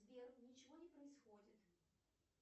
сбер ничего не происходит